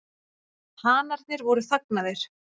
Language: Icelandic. Hanarnir voru þagnaðir.